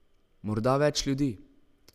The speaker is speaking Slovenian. Morda več ljudi.